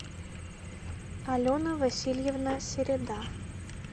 алена васильевна середа